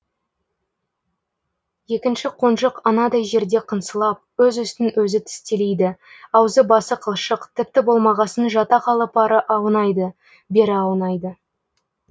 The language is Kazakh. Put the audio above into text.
екінші қонжық анадай жерде қыңсылап өз үстін өзі тістелейді аузы басы қылшық тіпті болмағасын жата қалып ары аунайды бері аунайды